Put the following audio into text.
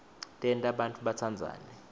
tenta bantfu batsandzane